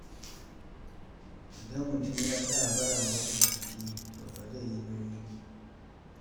Idan mutum ya tsaya ba ya motsa jiki, to fa zai yi nauyi.